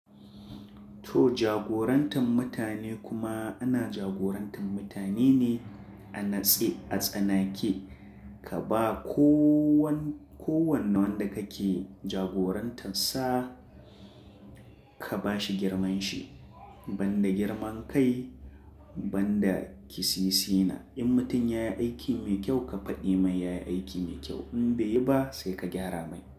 To jagorantar mutane kuma ana jagorantar mutane ne a natse, a tsanake. Ka ba kowanne wanda kake jagoranta sa, ka ba shi girman shi. Banda girman kai, banda kisisi na. In mutum ya yi aiki mai kyau, ka faɗi mai ya yi aiki mai kyau. In bai yi ba sai ka gyara mai.